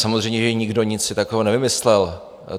Samozřejmě že nikdo nic si takového nevymyslel.